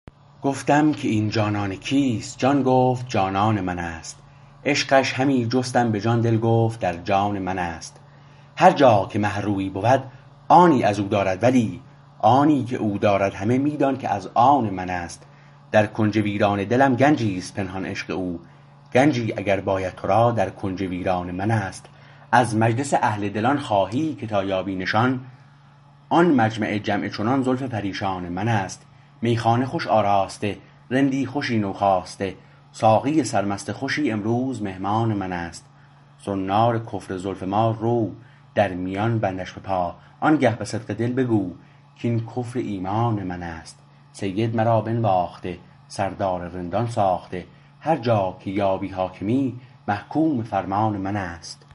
گفتم که این جانان کیست جان گفت جانان منست عشقش همی جستم به جان دل گفت درجان منست هر جا که مه رویی بود آنی از او دارد ولی آنی که او دارد همه می دان که از آن منست در کنج ویران دلم گنجیست پنهان عشق او گنجی اگر باید تو را در کنج ویران منست از مجلس اهل دلان خواهی که تا یابی نشان آن مجمع جمع چنان زلف پریشان منست میخانه خوش آراسته رندی خوشی نوخواسته ساقی سرمست خوشی امروز مهمان منست زنار کفر زلف ما رو در میان بندش بپا آنگه به صدق دل بگو کاین کفر ایمان منست سید مرا بنواخته سردار رندان ساخته هرجا که یابی حاکمی محکوم فرمان منست